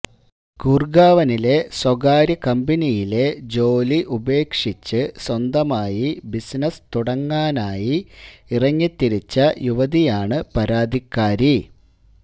ഗുർഗാവനിലെ സ്വകാര്യകമ്പനിയിലെ ജോലി ഉപേക്ഷിച്ച് സ്വന്തമായി ബിസിനസ് തുടങ്ങാനായി ഇറങ്ങിത്തിരിച്ച യുവതിയാണ് പരാതിക്കാരി